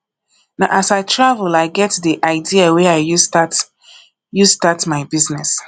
na as i travel i get di idea wey i use start use start my business